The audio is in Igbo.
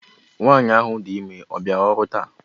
Nwanyị ahụ dị ime ọ bịara ọrụ taa?